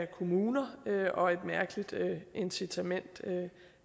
kommuner og et mærkeligt incitament